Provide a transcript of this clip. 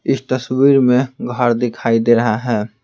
इस तस्वीर में घर दिखाई दे रहा है।